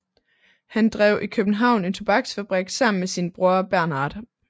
Han drev i København en tobaksfabrik sammen med sin bror Bernhard